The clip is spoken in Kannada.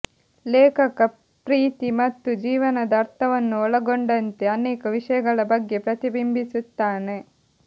ಲೇಖಕ ಪ್ರೀತಿ ಮತ್ತು ಜೀವನದ ಅರ್ಥವನ್ನು ಒಳಗೊಂಡಂತೆ ಅನೇಕ ವಿಷಯಗಳ ಬಗ್ಗೆ ಪ್ರತಿಬಿಂಬಿಸುತ್ತಾನೆ